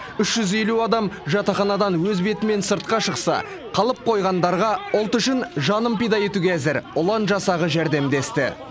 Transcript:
үш жүз елу адам жатақханадан өз бетімен сыртқа шықса қалып қойғандарға ұлт үшін жанын пида етуге әзір ұлан жасағы жәрдемдесті